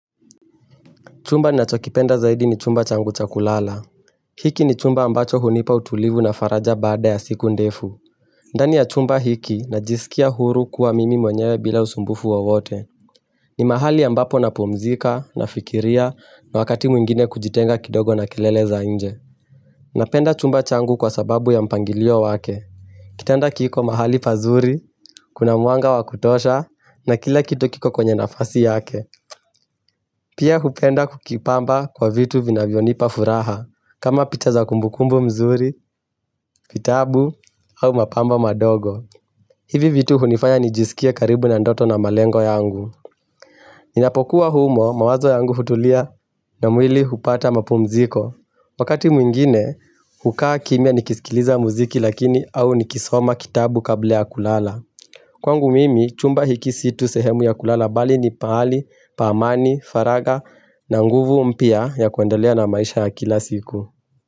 Chumba nachokipenda zaidi ni chumba changu cha kulala. Hiki ni chumba ambacho hunipa utulivu na faraja baada ya siku ndefu. Ndani ya chumba hiki najisikia huru kuwa mimi mwenyewe bila usumbufu wowote. Ni mahali ambapo napumzika na fikiria na wakati mwingine kujitenga kidogo na kelele za inje. Napenda chumba changu kwa sababu ya mpangilio wake. Kitanda kiko mahali pazuri, kuna mwanga wakutosha na kila kitu kiko kwenye nafasi yake. Pia hupenda kukipamba kwa vitu vina vinavyonipa furaha. Kama picha za kumbukumbu mzuri, vitabu au mapamba madogo hivi vitu hunifanya nijisikia karibu na ndoto na malengo yangu Ninapokuwa humo mawazo yangu hutulia na mwili hupata mapumziko Wakati mwingine hukaa kimia nikisikiliza muziki lakini au nikisoma kitabu kabla ya kulala Kwangu mimi chumba hiki si tu sehemu ya kulala bali ni pahali, pa amani, faraga na nguvu mpya ya kuendelea na maisha ya kila siku.